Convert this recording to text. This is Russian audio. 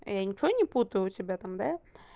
я ничего не путаю у тебя там да